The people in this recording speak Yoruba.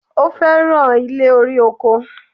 Ó fẹ̀ràn ilé-orí-oko.